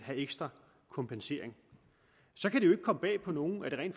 have ekstra kompensering så kan det jo ikke komme bag på nogen at det rent